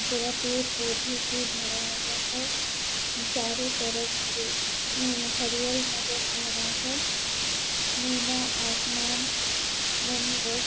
पूरा पेड़ पौधे से भरा हुआ हैं चारों तरफ हरे उम्म हरियल नजर आ रहा हैं नीला आसमान बहुत --